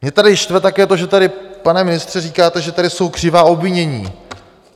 Mě tady štve také to, že tady, pane ministře, říkáte, že tady jsou křivá obvinění.